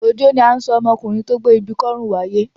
Òjó ni à ń sọ ọmọkùnrin tó gbé ibi kọ́rùn wáyé.